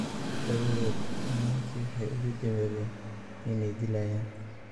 Dabadeed nimankii waxay ugu hanjabeen inay dilayaan.